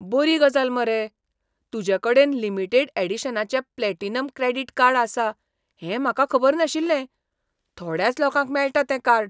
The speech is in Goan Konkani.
बरी गजाल मरे! तुजे कडेन लिमिटेड ऍडिशनाचें प्लॅटिनम क्रॅडीट कार्ड आसा हें म्हाका खबर नाशिल्लें. थोड्याच लोकांक मेळटा तें कार्ड.